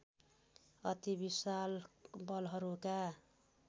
अति विशाल बलहरूका